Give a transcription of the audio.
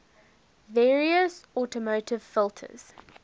various automotive filters